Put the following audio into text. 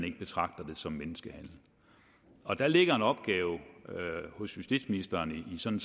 ikke betragtes som menneskehandel og der ligger en opgave hos justitsministeren i sådan